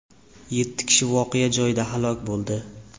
Yetti kishi voqea joyida halok bo‘ldi.